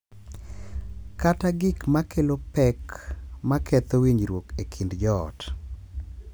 Kata gik ma kelo pek ma ketho winjruok e kind joot.